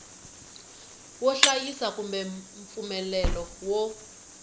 wo hlayisa kumbe mpfumelelo wo